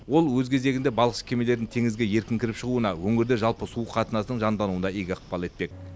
ол өз кезегінде балықшы кемелердің теңізге еркін кіріп шығуына өңірде жалпы су қатынасының жандануына игі ықпал етпек